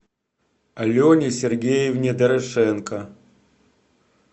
алене сергеевне дорошенко